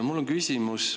Mul on küsimus.